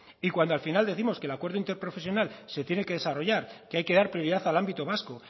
y cuando al final décimos que el acuerdo interprofesional se tiene que desarrollar que hay que dar prioridad al ámbito vasco